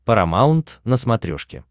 парамаунт на смотрешке